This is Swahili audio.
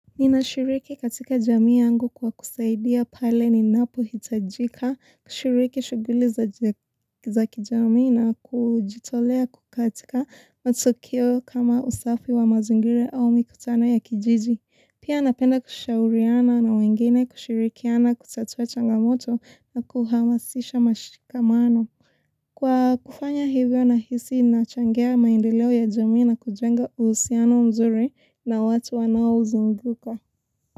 Ninashiriki katika jamii yangu kwa kusaidia pale ninapohitajika kushiriki shughuli za kijamii na kujitolea katika matukio kama usafi wa mazingira au mikutano ya kijiji. Pia napenda kushauriana na wengine kushirikiana kutatua changamoto na kuhamasisha mashikamano. Kwa kufanya hivyo nahisi nachangia maendeleo ya jamii na kujenga uhusiano mzuri na watu wanaozunguka.